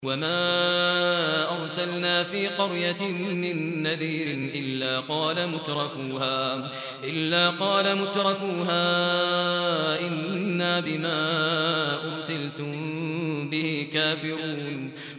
وَمَا أَرْسَلْنَا فِي قَرْيَةٍ مِّن نَّذِيرٍ إِلَّا قَالَ مُتْرَفُوهَا إِنَّا بِمَا أُرْسِلْتُم بِهِ كَافِرُونَ